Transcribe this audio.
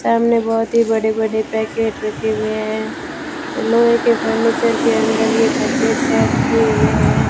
सामने बहुत ही बड़े बड़े पैकेट रखे हुए है लोहे के फर्नीचर के अंदर ये पैकेट सेट किए हुए है।